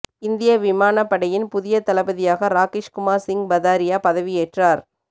இந்திய விமானப் படையின் புதிய தளபதியாக ராகேஷ்குமார் சிங் பதாரியா பதவியேற்றார்